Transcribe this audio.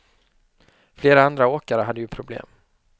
Flera andra åkare hade ju problem.